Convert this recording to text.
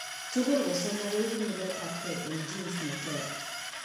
Tugul somok koibu nyiletabgei en gene neter